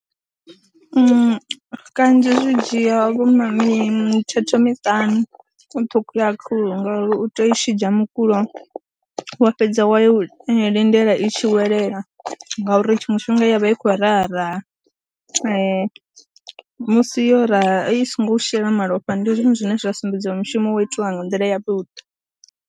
Kanzhi kanzhi zwi dzhia vho ma mithethe miṱanu u ṱhukhula khuhu ngauri u tea u i tshidzha mukulo wa fhedza wa lindela i tshi tshi welela ngauri tshiṅwe tshifhinga i ya vha i khou raha raha musi yo ra, i songo u shela malofha ndi zwone zwine zwa sumbedziwa mushumo wo itiwa nga nḓila yavhuḓi.